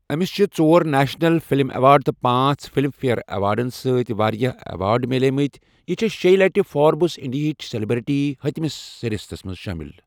أمِس چھِ ژور نیشنل فِلم ایوارڈ تہٕ پانٛژھ فِلم فیئر ایوارڈَن سۭتۍ واریٛاہ ایوارڈ مِلے مٕتۍ، یہِ چھےٚ شیٚیہِ لَٹہِ فوربس انڈیِہٕچ سلیبریٹی ہتھَ مِس فہرستَس منٛز شٲمِل۔